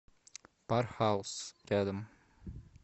пархаус рядом